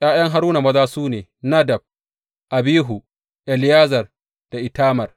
’Ya’yan Haruna maza su ne, Nadab, Abihu, Eleyazar da Itamar.